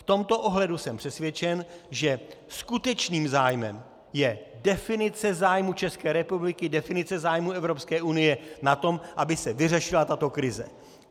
V tomto ohledu jsem přesvědčen, že skutečným zájmem je definice zájmů České republiky, definice zájmů Evropské unie na tom, aby se vyřešila tato krize.